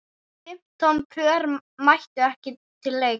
Fimmtán pör mættu til leiks.